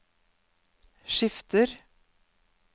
skifter